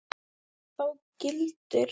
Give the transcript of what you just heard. Þá gildir